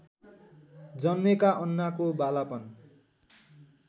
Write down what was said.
जन्मेका अन्नाको बालापन